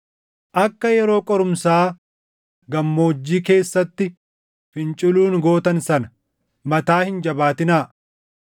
akka yeroo qorumsaa gammoojjii keessatti finciluun gootan sana, mataa hin jabaatinaa;